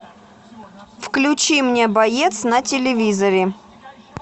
включи мне боец на телевизоре